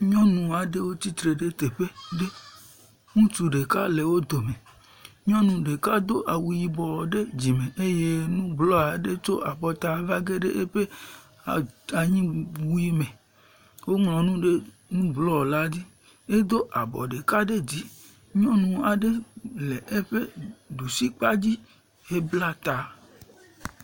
Nyɔnu ɖewo tsitre ɖe teƒe ɖe. Ŋutsu ɖeka le wo dome. Nyɔnu ɖeka do awu yibɔ ɖe dzime eye nu blɔ aɖe tso afɔta va geɖe eƒe ata anyiwui me. Woŋlɔ nu ɖe nu blɔ la dzi wodo abɔ ɖeka ɖe dzi. nyɔnua ɖe le eƒe ɖusi kpadzi hebla ta.